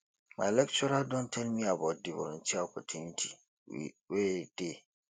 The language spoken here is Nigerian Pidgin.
my lecturer don tell me about di volunteer opportunity wey dey